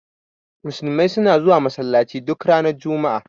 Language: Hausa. Musulmai suna zuwa Masallaci duk ranar juma'a.